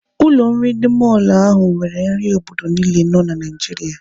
Ụlọ nri ndị mọlụ ahụ nwere nri obodo niile nọ na Naijiria.